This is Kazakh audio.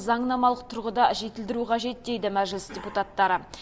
заңнамалық тұрғыда жетілдіру қажет дейді мәжіліс депутаттары